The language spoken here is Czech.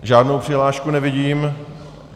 Žádnou přihlášku nevidím.